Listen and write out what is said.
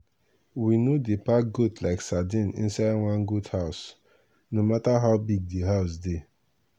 we no dey pack goat like sardine inside one goat house no matter how big di house dey.